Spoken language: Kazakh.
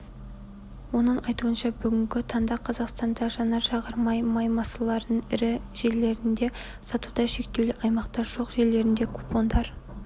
оның айтуынша бүгінгі таңда қазақстанда жанар-жағар май станцияларының ірі желілерінде сатуда шектеулі аймақтар жоқ желілерінде купондар